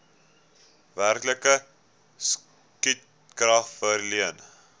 werklike stukrag verleen